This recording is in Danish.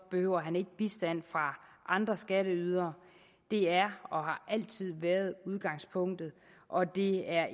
behøver ikke bistand fra andre skatteydere det er og har altid været udgangspunktet og det er